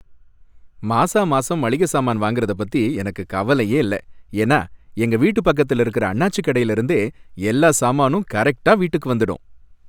மாசாமாசம் மளிகை சாமான் வாங்கறதப் பத்தி எனக்கு கவலையே இல்லை, ஏன்னா எங்க வீட்டுப் பக்கத்துல இருக்குற அண்ணாச்சி கடைல இருந்தே எல்லா சாமானும் கரெக்ட்டா வீட்டுக்கு வந்துடும்.